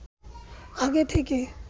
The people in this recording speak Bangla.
আগে থেকে